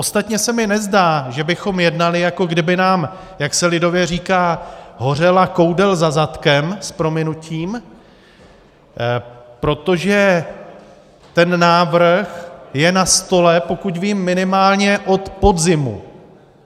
Ostatně se mi nezdá, že bychom jednali, jako kdyby nám, jak se lidově říká, hořela koudel za zadkem, s prominutím, protože ten návrh je na stole, pokud vím, minimálně od podzimu.